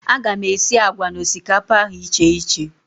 A ga m esi àgwà na osikapa ahụ icheiche